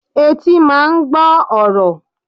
Etí máa ń gbọ́ ọ̀rọ̀.